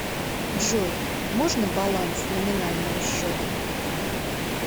джой можно баланс номинального счета